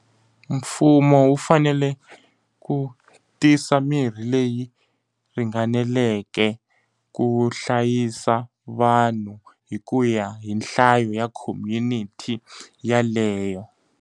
Mfumo wu fanele ku tisa mirhi leyi ringaneleke ku hlayisa vanhu hi ku ya hi nhlayo ya community yeleyo.